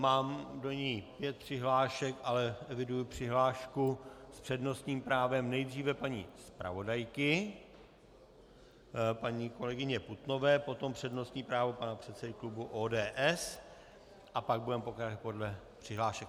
Mám do ní pět přihlášek, ale eviduji přihlášku s přednostním právem nejdříve paní zpravodajky paní kolegyně Putnové, potom přednostní právo pana předsedy klubu ODS a pak budeme pokračovat podle přihlášek.